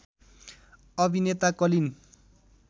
अभिनेता कलिन